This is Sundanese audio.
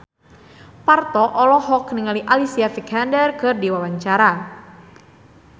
Parto olohok ningali Alicia Vikander keur diwawancara